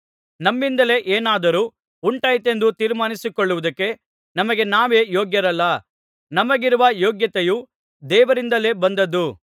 ನಮ್ಮಿಂದಲೇ ಏನಾದರೂ ಉಂಟಾಯಿತೆಂದು ತೀರ್ಮಾನಿಸಿಕೊಳ್ಳುವುದಕ್ಕೆ ನಮಗೆ ನಾವೇ ಯೋಗ್ಯರಲ್ಲ ನಮಗಿರುವ ಯೋಗ್ಯತೆಯೂ ದೇವರಿಂದಲೇ ಬಂದದ್ದು